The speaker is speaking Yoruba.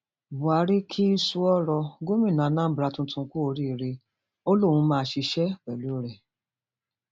buhari kí sùúrọ gómìnà anaambra tuntun kú oríire ó lóun máa ṣiṣẹ pẹlú rẹ